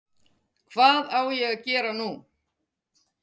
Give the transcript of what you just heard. Hvað á ég að gera nú?